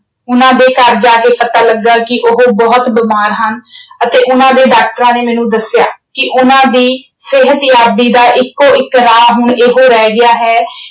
ਉਨ੍ਹਾਂ ਦੇ ਘਰ ਜਾ ਕੇ ਪਤਾ ਲੱਗਾ ਕਿ ਉਹ ਬਹੁਤ ਬਿਮਾਰ ਹਨ ਅਤੇ ਉਨ੍ਹਾਂ ਦੇ doctors ਨੇ ਮੈਨੂੰ ਦੱਸਿਆ ਕਿ ਉਨ੍ਹਾਂ ਦੀ ਸਿਹਤਯਾਬੀ ਦਾ ਇੱਕੋ ਇੱਕ ਰਾਹ ਹੁਣ ਇਹੋ ਰਹਿ ਗਿਆ ਹੈ